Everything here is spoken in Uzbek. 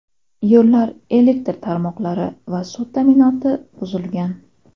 Yo‘llar, elektr tarmoqlari va suv ta’minoti buzilgan.